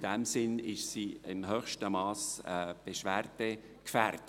In diesem Sinn ist sie im höchsten Mass beschwerdegefährdet.